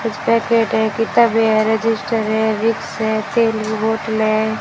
कुछ पैकेट है किताबें हैं रजिस्टर है विक्स है तेल की बोतलें है।